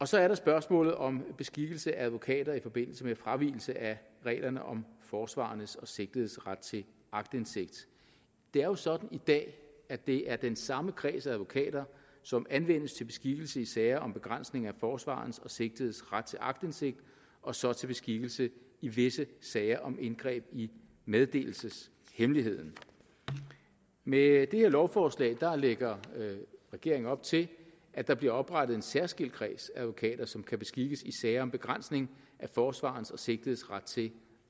så er der spørgsmålet om beskikkelse af advokater i forbindelse med fravigelse af reglerne om forsvarerens og sigtedes ret til aktindsigt det er jo sådan i dag at det er den samme kreds af advokater som anvendes til beskikkelse i sager om begrænsning af forsvarerens og sigtedes ret til aktindsigt og så til beskikkelse i visse sager om indgreb i meddelelseshemmeligheden med det her lovforslag lægger regeringen op til at der bliver oprettet en særskilt kreds af advokater som kan beskikkes i sager om begrænsning af forsvarerens og sigtedes ret til